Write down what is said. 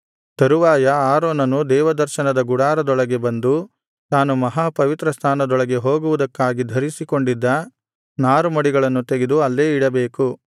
ತರುವಾಯ ಆರೋನನು ದೇವದರ್ಶನದ ಗುಡಾರದೊಳಗೆ ಬಂದು ತಾನು ಮಹಾಪವಿತ್ರಸ್ಥಾನದೊಳಗೆ ಹೋಗುವುದಕ್ಕಾಗಿ ಧರಿಸಿಕೊಂಡಿದ್ದ ನಾರುಮಡಿಗಳನ್ನು ತೆಗೆದು ಅಲ್ಲೇ ಇಡಬೇಕು